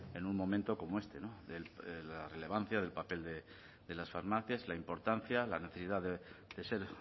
en un momento como este de la relevancia del papel de las farmacias de la importancia la necesidad de ser